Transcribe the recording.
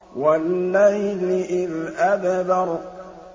وَاللَّيْلِ إِذْ أَدْبَرَ